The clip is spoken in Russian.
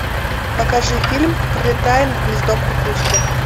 покажи фильм пролетая над гнездом кукушки